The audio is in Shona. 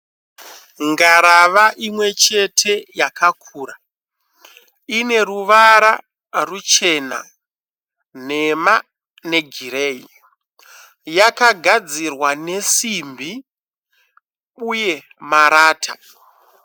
Ngarava imwe chete yakakura ine ruvara ruchena nhema negireyi . Yakagadzirwa nesimbi uye marata.